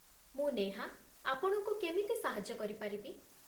ମୁଁ ନେହା, ଆପଣଙ୍କୁ କେମିତି ସାହାଯ୍ୟ କରିପାରିବି?